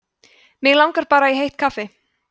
mig langar bara í heitt kaffi